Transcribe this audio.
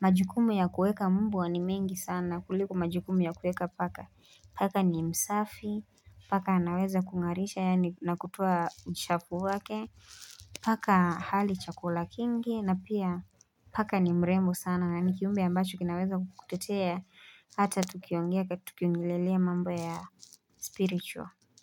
majukumu ya kueka mbwa ni mengi sana kuliko majukumu ya kuweka paka Paka ni msafi Paka anaweza kungarisha yani nakutua uchafu wake Paka hali chakula kingi na pia Paka ni mrembo sana na ni kiumbe ambacho kinaweza kukutetea Hata tukiongelelea mambo ya spiritual.